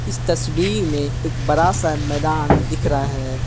इस तस्वीर में एक बड़ा सा मैदान दिख रहा है।